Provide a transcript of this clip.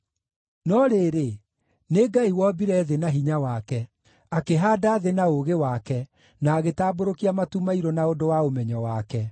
No rĩrĩ, nĩ Ngai wombire thĩ na hinya wake; akĩhaanda thĩ na ũũgĩ wake, na agĩtambũrũkia matu mairũ na ũndũ wa ũmenyo wake.